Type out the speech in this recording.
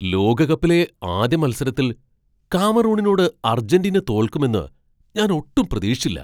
ലോകകപ്പിലെ ആദ്യ മത്സരത്തിൽ കാമറൂണിനോട് അർജന്റീന തോൽക്കുമെന്ന് ഞാൻ ഒട്ടും പ്രതീക്ഷിച്ചില്ല.